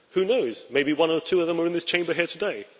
Who knows, maybe one or two of them are in this Chamber here today!